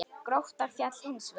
Grótta féll hins vegar.